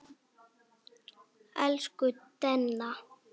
Hún Raggý er dáin.